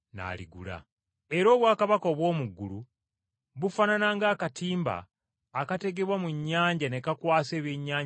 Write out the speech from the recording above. “Era obwakabaka obw’omu ggulu bufaanana ng’akatimba akategebwa mu nnyanja ne kakwasa ebyennyanja ebya buli ngeri,